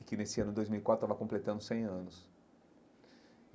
E que nesse ano de dois mil e quatro estava completando cem anos.